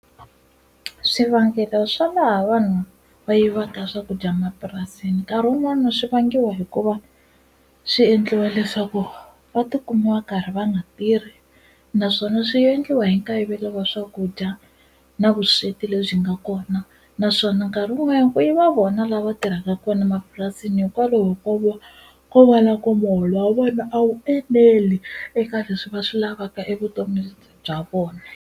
Swivangelo swa laha vanhu va yivaka swakudya mapurasini nkarhi wun'wani swi vangiwa hikuva swi endliwa leswaku va tikuma va karhi va nga tirhi naswona swi endliwa hi nkayivelo wa swakudya na vusweti lebyi nga kona naswona nkarhi wun'wanyana ku yiva vona lava tirhaka kona mapurasini hikwalaho ko vo ko vona ku muholo wa vona a wu eneli eka leswi va swi lavaka evutomini bya vona.